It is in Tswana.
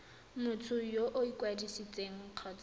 motho yo o ikwadisitseng kgotsa